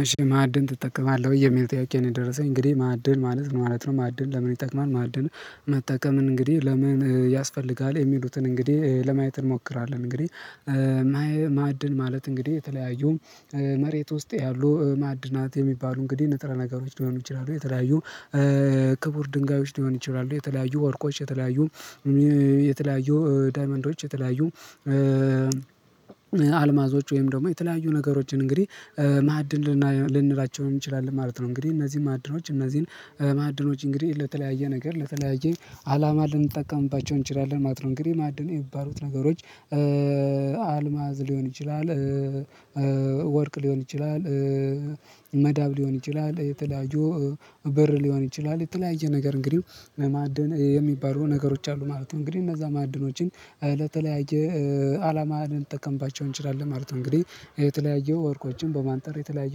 እሺ ማዕድን ትጠቀማለህ ወይ የሚል ጥያቄ ነው? የደረሰኝ እንግዲህ ማዕድን ማለት ምን ማለት ነው? ማዕድን ለምን ይጠቅማል? ማዕድን መጠቀምን እንግዲህ ለምን ያስፈልጋል የሚሉትን እንግዲህ ለማየት እንሞክራለን። እንግዲህ ማዕድን ማለት እንግዲህ የተለያዩ መሬት ውስጥ ያሉ ማዕድናት የሚባሉ እንግዲህ ንጥረ ነገሮች ሊሆኑ ይችላሉ የተለያዩ ክቡር ድንጋዮች ሊሆኑ ይችላሉ የተለያዩ ወርቆች የተለያዩ የተለያዩ ዳይመንዶች የተለያዩ አልማዞች ወይም ደግሞ የተለያዩ ነገሮችን እንግዲህ ማዕድን ልንላቸው ነው የምንችላለን ማለት ነው። እንግዲህ እነዚህ ማዕድኖች እነዚህን ማዕድኖች እንግዲህ ለተለያየ ነገር ለተለያየ አላማ ልንጠቀምባቸው እንችላለን ማለት ነው። እንግዲህ ማዕድን የሚባሉት ነገሮች አልማዝ ሊሆን ይችላል ወርቅ ሊሆን ይችላል መዳብ ሊሆን ይችላል የተለያዩ ብር ሊሆን ይችላል የተለያየ ነገር እንግዲህ ለማዕድን የሚባሉ ነገሮች አሉ ማለት ነው። እንግዲህ እነዛ ማዕድኖችን ለተለያየ አላማ ልንጠቀምባቸው እንችላለን ማለት ነው። እንግዲህ የተለያየ ወርቆችን በማንጠር የተለያየ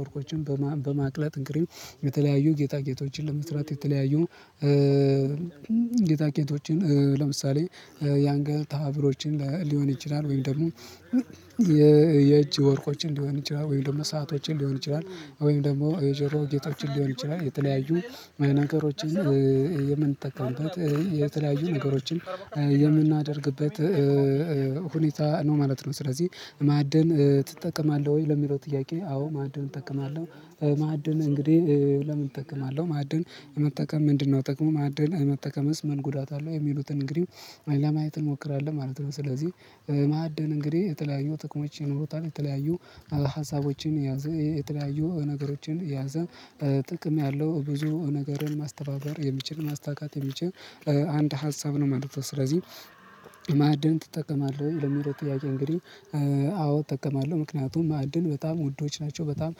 ወርቆችን በማቅለጥ እንቅልፍ የተለያዩ ጌጣ ጌጦችን ለመስራት የተለያዩ ጌጣ ጌጦችን ለምሳሌ የአንገል ሃብሎችን ሊሆን ይችላል ወይም ደግሞ የእጅ ወርቆችን ሊሆን ይችላል ወይም ደግሞ ሰአቶችን ሊሆን ይችላል ወይም ደግሞ የጆሮ ጌጦችን ሊሆን የተለያዩ ነገሮችን የምንጠቀምበት የተለያዩ ነገሮችን የምናደርግበት ሁኔታ ነው ማለት ነው። ስለዚህ ማዕድን ትጠቀማለህ ወይ ለሚለው ጥያቄ? አዎ ማዕድን እጠቀማለሁ። ማዕድን እንግዲህ ለምን እጠቀማለሁ ማዕድን መጠቀም ምንድነው? ጥቅሞ ማዕድን መጠቀምስ ምን ጉዳት አለው? የሚሉትን እንግዲህ ለማየት እንሞክራለን ማለት ነው። ስለዚህ ማድን እንግዲህ የተለያዩ ጥቅሞች ይኖሩታል የተለያዩ ሀሳቦችን ያዘ የተለያዩ ነገሮችን ያዘ ጥቅም ያለው ብዙ ነገርን ማስተባበር የሚችል ማሳካት የሚችል አንድ ሀሳብ ነው ማለት ነው። ስለዚህ ማዕድን ትጠቀማለህ ለሚለው ጥያቄ? እንግዲህ አዎ እጠቀማለሁ። ምክንያቱም ማዕድን በጣም ውዶች ናቸው። በጣም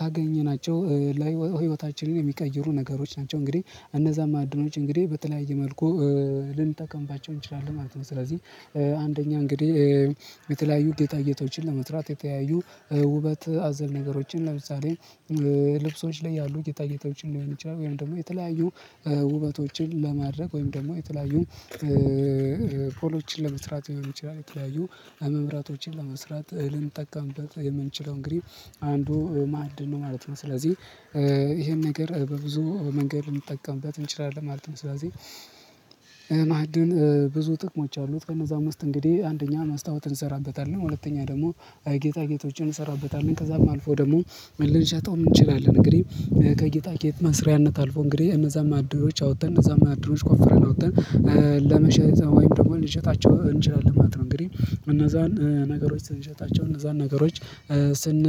ካገኘናቸው ላይ ህይወታችንን የሚቀይሩ ነገሮች ናቸው እንግዲህ እነዛም ማዓድኖች እንግዲህ በተለያየ መልኩ ልንጠቀምባቸው እንችላለን ማለት ነው። ስለዚህ አንደኛ እንግዲህ የተለያዩ ጌጣ ጌጦችን ለመስራት የተያዩ ውበት አዘል ነገሮችን ለምሳሌ ልብሶች ላይ ያሉ ጌጤ ጌጦችን ሊሆን ይችላል ወይም ደግሞ የተለያዩ ውበቶችን ለማድረግ ወይም ደግሞ የተለያዩ ፖሎችን ለመስራት ሌሆን ይችላል የተለያዩ መምራቶችን ለመስራት ልን ጠቀምበት የምንችለው እንግዲህ አንዱ ማዕድ ነው ማለት ነው። ስለዚህ ይሄን ነገር በብዙ መንገድ ልንጠቀምበት እንችላለን ማለት ነው። ስለዚህ ማዕድን ብዙ ጥቅሞች አሉት። ከነዛ ውስጥ እንግዲህ አንደኛ ማስታወትን እንሰራበታለን ሁለተኛ ደግሞ ጌጣ ጌጦችን እንሰራበታለን ከዛም አልፎ ደግሞ ልንሸታጠውም እንችላለን እንግዲህ ከጌጣ ጌጥ መስሪያነት አልፎ እንግዲህ እነዛም ማዓድኖች አውጥተን እነዛም መዓድኖች ቆፍረን አውጥተን ለመሸጥ ወይም ደግሞ ልንሸጣቸው እንችላለን ማለት ነው። እንግዲህ እነዛን ነገሮች ስንሸጣቸው እነዛን ነገሮች ስን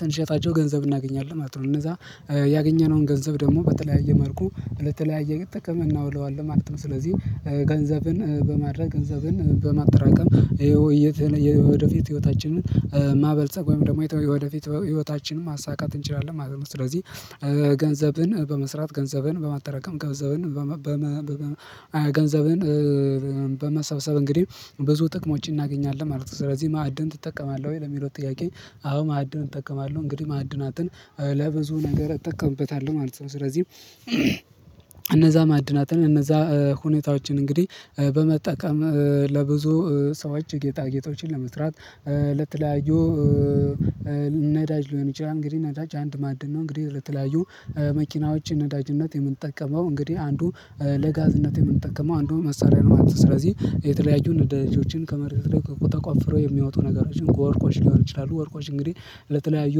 ስንሸጣቸው ገንዘብ እናገኛለን ማለት ነው። እነዛ ያገኘነውን ገንዘብ ደግሞ በተለያየ መልኩ ለተለያየ ጥበቃ እናውለዋለሁ ማለት ነው። ስለዚህ ገንዘብን በማድረግ ገንዘብን በማጠራቀም የወደፊት ህይወታችንን ማበልጸግ ወይም ደግሞ የወደፊት ህይወታችንን ማሳካት እንችላለን ማለት ነው። ስለዚህ ገንዘብን በመስራት ገንዘብን በማጠራቀም ገንዘብን በመሰብሰብ እንግዲህ ብዙ ጥቅሞች እናገኛለን ማለት ነው። ስለዚህ ማዕድን ትጠቀማለህ ወይ ለሚለው ጥያቄ? አዎ ማዕድን እጠቀማለሁ። እንግዲህ ማዕድናትን ለብዙ ነገር እጠቀምበታለሁ ማለት ነው። ስለዚህም እነዛ ማዕድናትን እነዛ ሁኔታዎችን እንግዲህ በመጠቀም ለብዙ ሰዎች ጌጣጌጦችን ለመስራት ለተለያዩ ነዳጅ ሊሆን ይችላል እንግዲህ ነዳጅ አንድ ማድም ነው እንግዲህ ለተለያዩ መኪናዎችን ነዳጅነት የምንጠቀመው እንግዲህ አንዱ ለጋዝነት የምንጠቀመው አንዱን መሳሪያ ነው ማለት ነው። ስለዚህ የተለያዩን ነዳጆችን ከመሬት ላይ ተቋፍረው የሚያወጡ ነገሮችን ወርቆች ሊሆኑ ይችላሉ ወርቆች እንግዲህ ለተለያዩ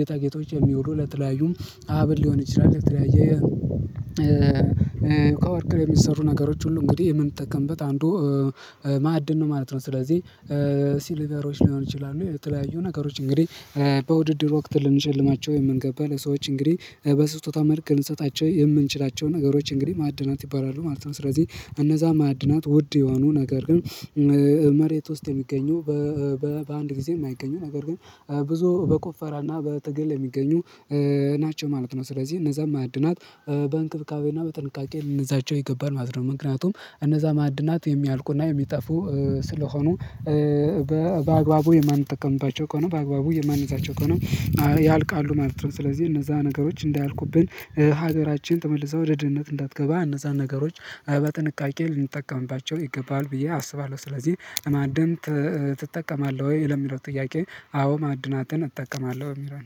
ጌጣ ጌጦች የሚውሉ ለተለያዩ ሀብል ሊሆን ይችላል ለተለያየ ከወርቅ የሚሰሩ ነገሮች ሁሉ እንግዲህ የምንጠቀምበት አንዱ ማዕድን ነው ማለት ነው። ስለዚህ ሲሊቨሮች ሊሆን ይችላል የተለያዩ ነገሮች እንግዲህ በውድድር ወቅት ልንሸልማቸው የምንገባል ሰዎች እንግዲህ በስጦታ መልክ ልንሰጣቸው የምንችላቸው ነገሮች እንግዲህ ማዕድናት ይባላሉ ማለት ነው። ስለዚህ እነዛ ማዕድናት ውድ የሆኑ ነገር ግን መሬት ውስጥ የሚገኘው በአንድ ጊዜም አይገኘው ነገር ግን ብዙ በቆፈራና በትግል የሚገኙ ናቸው ማለት ነው። ስለዚህ እነዛም ማዕድናት በእንክብካቤና በጥንቃቄ ልንዛቸው ይገባናል ማለት ነው። ምክንያቱም እነዛ ማዕድናት የሚያልቁና የሚጠፉ ስለሆኑ በአግባቡ የማንጠቀምባቸው ከሆነ በአግባቡ የማንዛቸው ከሆነ ያልቃሉ ማለት ነው። ስለዚህ እነዛ ነገሮች እንዳያቁብን ሀገራችን ተመልሰው ወደ ድህነት እንዳትገባ እነዛን ነገሮች በጥንቃቄ ልንጠቀምባቸው ይገባል ብዬ አስባለሁ። ስለዚህ ማዕድን ትጠቀማለህ ወይ ለሚለው ጥያቄ? አዎ ማዕድናትን እጠቀማለሁ የሚለው